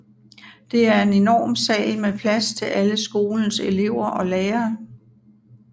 Det er en enorm sal med plads til alle skolens elever og lærere